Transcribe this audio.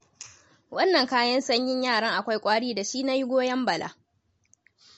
Wannan kayan sanyin yaran akwai ƙwari da shi nayi goyon Bala.